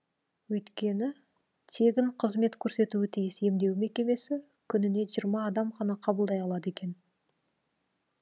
өйткені тегін қызмет көрсетуі тиіс емдеу мекемесі күніне жиырма адам ғана қабылдай алады екен